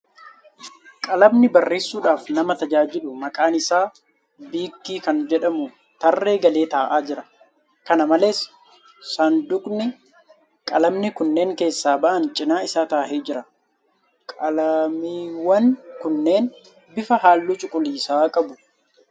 Qalamni barreessudhaaf nama tajaajilu maqaan isaa biik kan jedhamu tarree galee taa'aa jira. Kana malees , sanduuqni qalamni kunneen keessaa ba'an cinaa isaa taa'ee jira. Qalamiiwwan kunneen bifa halluu cuquliisaa qabu.